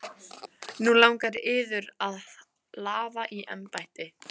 Nú langar yður að lafa í embætti?